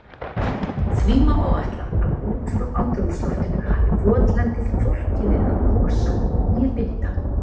Því má áætla að út frá andrúmsloftinu hafi votlendið hvorki verið að losa né binda.